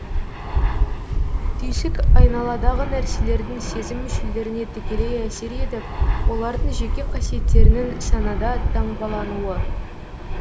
түйсік айналадағы нәрселердің сезім мүшелеріне тікелей әсер етіп олардың жеке қасиеттерінің санада таңбалануы